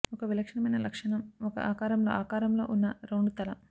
ఒక విలక్షణమైన లక్షణం ఒక ఆకారంలో ఆకారంలో ఉన్న రౌండ్ తల